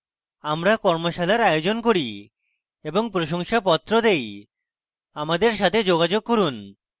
আমরা কর্মশালার আয়োজন করি এবং প্রশংসাপত্র দেই আমাদের সাথে যোগাযোগ করুন